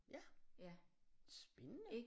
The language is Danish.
Ja spændende